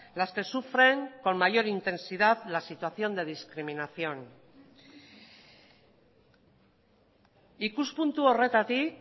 las que sufren con mayor intensidad la situación de discriminación ikuspuntu horretatik